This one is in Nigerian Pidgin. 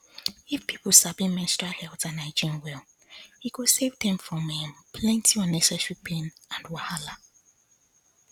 if people sabi menstrual health and hygiene well e go save dem from um plenty unnecessary pain and wahala